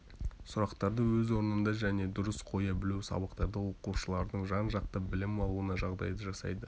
сұрақтарды өз орнында және дұрыс қоя білу сабақтарда оқушылардың жан-жақты білім алуына жағдай жасайды